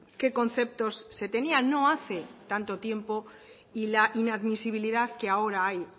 qué conceptos se tenían no hace tanto tiempo y la inadmisibilidad que ahora hay